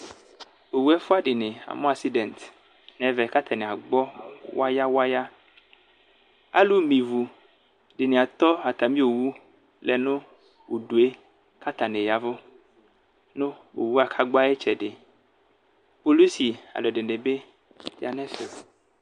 Owʋ ɛfʋa dini amʋ asidɛnt nʋ ɛmɛ kʋ atani agbɔ waya waya alʋmɛ ivi dini ataɔ atami owʋ lɛnʋ ʋdʋe kʋ atani ya ɛvʋ nʋ owʋe kʋ agbɔ ayʋ itsɛdi polisi alʋ ɛdini bi yanʋ ɛfɛ